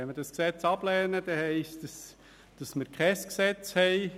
Wenn wir das Gesetz ablehnen, bedeutet das, dass wir kein Gesetz haben.